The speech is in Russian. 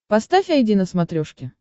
поставь айди на смотрешке